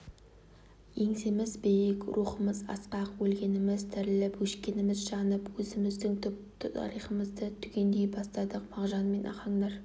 еңсеміз биік рухымыз асқақ өлгеніміз тіріліп өшкеніміз жанып өзіміздің түп тарихымызды түгендей бастадық мағжан мен ахаңдар